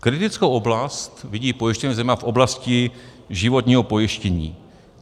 Kritickou oblast vidí pojišťovny zejména v oblasti životního pojištění.